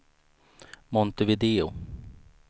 Montevideo